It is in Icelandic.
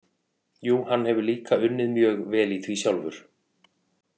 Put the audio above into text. Jú, hann hefur líka unnið mjög vel í því sjálfur.